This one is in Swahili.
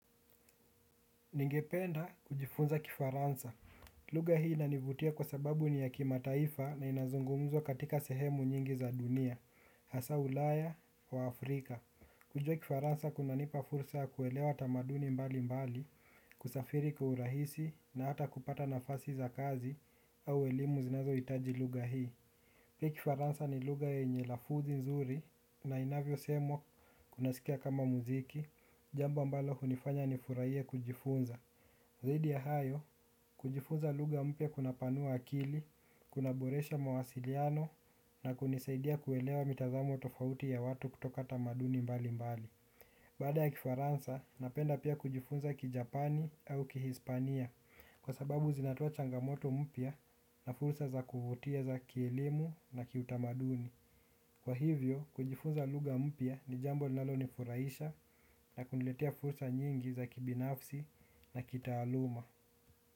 Ningependa kujifunza Kifaransa lugha hii inanivutia kwa sababu ni ya kima taifa na inazungumzwa katika sehemu nyingi za dunia hasa Ulaya wa Afrika. Kujua Kifaransa kunanipa fursa ya kuelewa tamaduni mbali mbali kusafiri kiurahisi na hata kupata nafasi za kazi au elimu zinazohitaji lugha hii pia Kifaransa ni lugha yenye lafudhi nzuri na inavyo semwa unasikia kama muziki jambo ambalo hunifanya nifurahie kujifunza zaidi ya hayo, kujifunza lugha mpya kunapanua akili kuna boresha mawasiliano na kunisaidia kuelewa mitazamo tofauti ya watu kutoka tamaduni mbali mbali baada ya Kifaransa, napenda pia kujifunza ki Japani au ki Hispania. Kwa sababu zinatoa changamoto mpya na fursa za kuvutia za kielimu na kiutamaduni kwa hivyo, kujifunza lugha mpya ni jambo linalo nifuraisha na kuniletea fursa nyingi za kibinafsi na kitaaluma.